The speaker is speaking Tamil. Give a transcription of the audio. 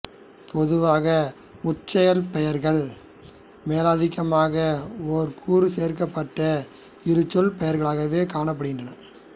பொதுவான முச்சொற் பெயர்கள் மேலதிகமாக ஒரு கூறு சேர்க்கப்பட்ட இருசொற் பெயர்களாகவே காணப்படுகின்றன